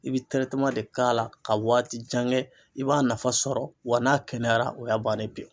I bɛ de k'a la ka waati jan kɛ i b'a nafa sɔrɔ wa n'a kɛnɛyara o y'a bannen pewu.